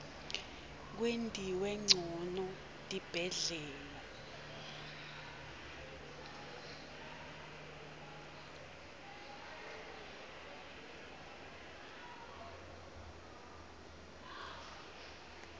kwentiwe ncono tibhedlela